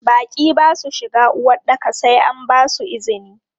Baƙi ba su shiga uwaɗɗaka sai an basu izini.